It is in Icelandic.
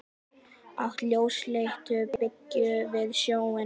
Í átt að ljósleitu byggingunni við sjóinn.